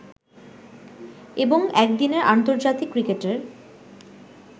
এবং একদিনের আন্তর্জাতিক ক্রিকেটের